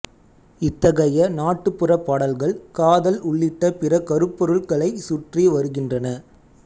இத்தகைய நாட்டுப்புறப் பாடல்கள் காதல் உள்ளிட்ட பிற கருப்பொருள்களைச் சுற்றி வருகின்றன